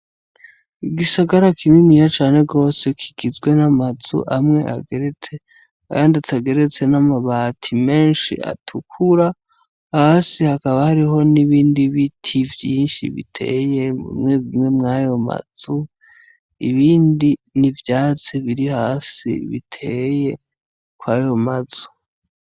Igisagara kininiya cane gose kigizwe n'amazu amwe ageretse ayandi atageretse n'amabati menshi atukura, hasi hakaba hariho n'ibindi biti vyinshi biteye mwayo mazu, ibindi n'ivyatsi biri hasi biteye kwayo mazu.